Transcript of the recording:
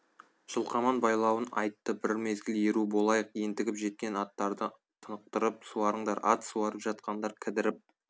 жылқаман байлауын айтты бір мезгіл еру болайық ентігіп жеткен аттарды тынықтырып суарыңдар ат суарып жатқандар кідіріп